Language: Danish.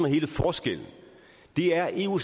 hele forskellen det er at eu